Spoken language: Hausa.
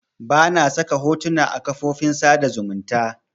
Bana saka hotona a kafofin sada zumunta